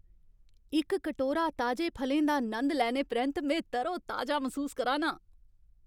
इक कटोरा ताजे फलें दा नंद लैने परैंत्त में तरोताजा मसूस करा ना आं।